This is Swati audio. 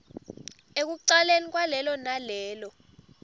ekucaleni kwalelo nalelo